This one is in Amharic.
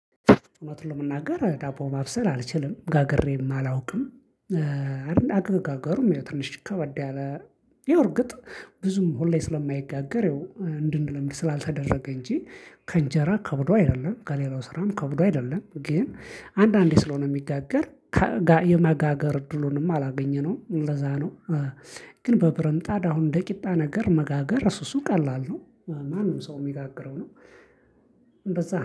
እውነት ለመናገር ዳቦ ማብሰል አልችልም ጋግሬም አላውቅም። አይደል አገጋገሩም ትንሽ ከበደ ያለ ያው እርግጥ ብዙም ሁሌ ስለማይጋገር። እንድንለምድ ስላልተደረገ እንጂ ከእንጀራ ከብዶ አይደለም ከሌላው ስራም ከብዶ አይደለም። ግን አንዳንዴ ስለሆነ የሚጋገር የመጋገር እድሉንም አላገኘነውም ለዛ ነው። ግን በብረትምጣድ አሁን እንደ ቂጣ ነገር መጋገር እሱ እሱ ቀላል ነው ማንም ሰው የሚጋግረው ነው። እንደዛ